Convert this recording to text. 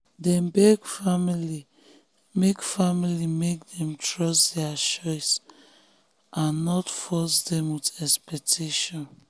dem beg family make family make dem trust their choice and no force dem with expectation.